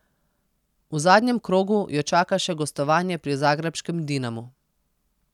V zadnjem krogu jo čaka še gostovanje pri zagrebškem Dinamu.